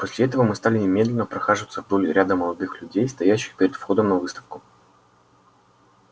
после этого мы стали и медленно прохаживаться вдоль ряда молодых людей стоящих перед входом на выставку